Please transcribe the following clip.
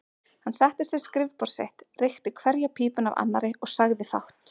Hann settist við skrifborð sitt, reykti hverja pípuna af annarri og sagði fátt.